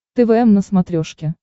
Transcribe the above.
твм на смотрешке